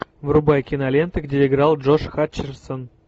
врубай киноленты где играл джош хатчерсон